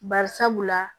Bari sabula